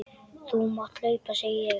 Þú mátt hlaupa, segi ég.